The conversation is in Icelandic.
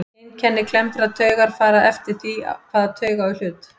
Einkenni klemmdrar taugar fara eftir því hvaða taug á í hlut.